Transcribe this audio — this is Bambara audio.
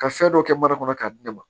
Ka fɛn dɔ kɛ mana kɔnɔ k'a di ne ma